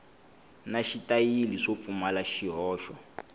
na xitayili swo pfumala swihoxo